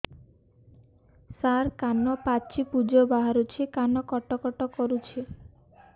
ସାର କାନ ପାଚି ପୂଜ ବାହାରୁଛି କାନ କଟ କଟ କରୁଛି